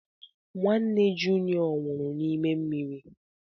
Nwanne junịọ nwụrụ n'ime mmiri.